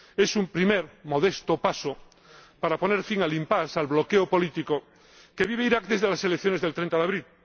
Es un primer modesto paso para poner fin al impasse al bloqueo político que vive Irak desde las elecciones del 30 de abril.